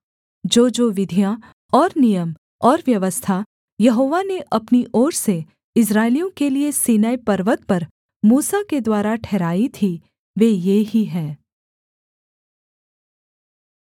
जोजो विधियाँ और नियम और व्यवस्था यहोवा ने अपनी ओर से इस्राएलियों के लिये सीनै पर्वत पर मूसा के द्वारा ठहराई थीं वे ये ही हैं